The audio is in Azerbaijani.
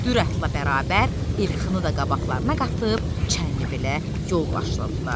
Dürətlə bərabər İlxını da qabaqlarına qatıb Çənlibelə yol başladılar.